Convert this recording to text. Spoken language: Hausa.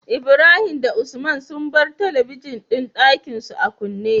Ibrahim da usman sun bar talabijin din Ɗakinsu a kunne